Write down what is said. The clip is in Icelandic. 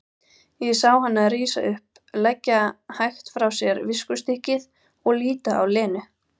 Ég sá hana rísa upp, leggja hægt frá sér viskustykkið og líta á Lenu.